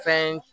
Fɛn